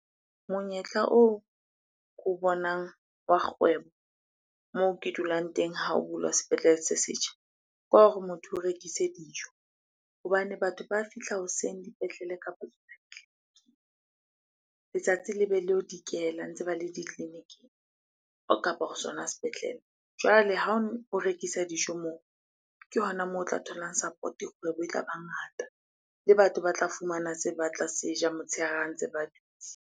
Monyetla oo ke o bonang wa kgwebo moo ke dulang teng ha o bulwa sepetlele se setjha, ke wa hore motho o rekise dijo. Hobane batho ba fihla hoseng dipetlele kapa dipetlele, letsatsi le be le yo dikela ntse ba le ditleliniking ho sona sepetlele. Jwale ha o rekisa dijo moo, ke hona moo o tla tholang support-o, kgwebo e tla ba ngata. Le batho ba tla fumana se batla se ja motshehare ha ntse ba dutse.